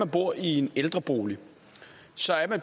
bor i en ældrebolig